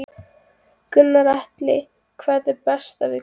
Gunnar Atli: Hvað er best við kleinuna?